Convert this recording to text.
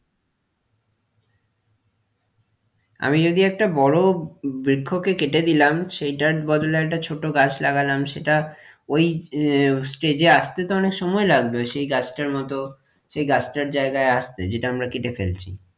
আমি যদি একটা বড়ো বৃক্ষকে কেটে দিলাম সেইটার বদলে একটা ছোট গাছ লাগালাম সেটা ওই আহ stage এ আসতে তো অনেক সময় লাগবে সেই গাছটার মতো সেই গাছটার জায়গায় আসতে যেটা আমরা কেটে ফেলছি,